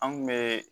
An kun be